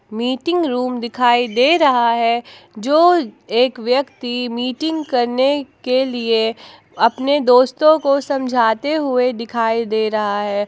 Meeting room दिखाई दे रहा है जो एक व्यक्ति मीटिंग करने के लिए अपने दोस्तों को समझाते हुए दिखाई दे रहा है।